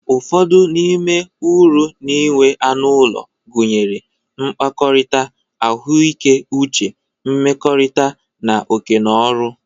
Ụfọdụ n'ime uru na-enwe anụ ụlọ, gụnyere, mkpakọrita, ahụike uche, nmekorita, na oke no ọrụ.